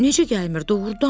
Necə gəlmir, doğrudan?